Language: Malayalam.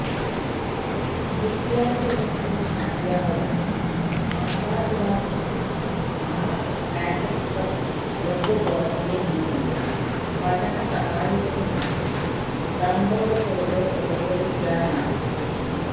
വിദ്യാര്ഥികള്ക്കും അധ്യാപകര്ക്കും മാതാപിതാക്കള്ക്കും സ്മാര്ട്ട് കാറ്റക്കിസം വെബ്പോര്ട്ടലില് നിന്നുള്ള പഠനസഹായികളും മറ്റും ഡൌണ്ലോഡ് ചെയ്ത് ഉപയോഗിക്കാനാകും